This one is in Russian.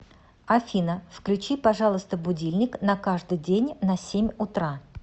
афина включи пожалуйста будильник на каждый день на семь утра